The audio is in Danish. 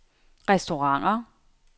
restauranter